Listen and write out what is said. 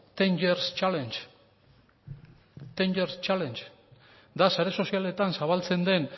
hamar year challenge da sare sozialetan zabaltzen den